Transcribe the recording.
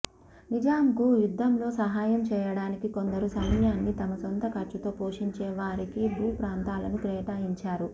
నిజాంకు యుద్దంలో సహాయం చేయడానికి కొందరు సైన్యాన్ని తమ సొంత ఖర్చుతో పోషించేవారికి భూ ప్రాంతా లను కేటాయించారు